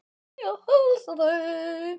Ég bið að heilsa þeim.